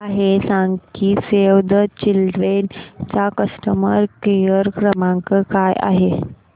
मला हे सांग की सेव्ह द चिल्ड्रेन चा कस्टमर केअर क्रमांक काय आहे